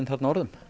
orðum